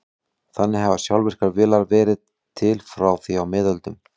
Þannig hafa sjálfvirkar vélar verið til frá því á miðöldum.